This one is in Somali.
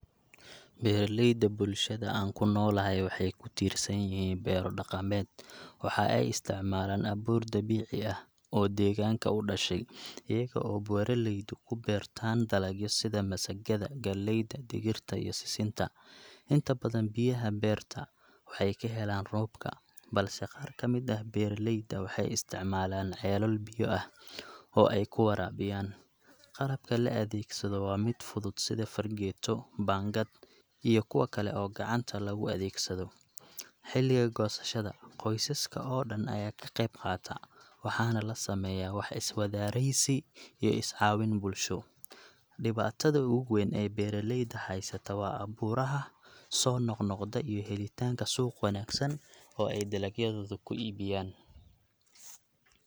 Beeralayda bulshada aan ku noolahay waxay ku tiirsan yihiin beero dhaqameed. Waxa ay isticmaalaan abuur dabiici ah oo deegaanka u dhashay, iyaga oo beeraleydu ku beertaan dalagyo sida masagada, galleyda, digirta, iyo sisinta. Inta badan biyaha beerta waxay ka helaan roobka, balse qaar ka mid ah beeraleyda waxay isticmaalaan ceelal biyo ah oo ay ku waraabiyaan. Qalabka la adeegsado waa mid fudud sida fargeeto, baangad, iyo kuwa kale oo gacanta lagu adeegsado. Xilliga goosashada, qoysaska oo dhan ayaa ka qayb qaata, waxaana la sameeyaa wax-iswadareysi iyo is-caawin bulsho. Dhibaatada ugu weyn ee beeraleyda haysata waa abuuraha soo noqnoqda iyo helitaanka suuq wanaagsan oo ay dalagyadooda ku iibiyaan.